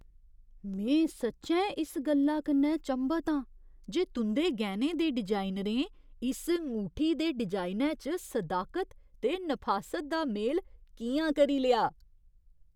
में सच्चैं इस गल्ला कन्नै चंभत आं जे तुं'दे गैह्‌नें दे डिजाइनरें इस ङूठी दे डिजाइनै च सदाकत ते नफासत दा मेल कि'यां करी लेआ ।